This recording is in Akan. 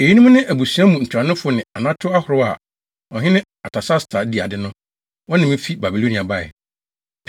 Eyinom ne abusua mu ntuanofo ne anato ahorow a ɔhene Artasasta di ade no, wɔne me fi Babilonia bae: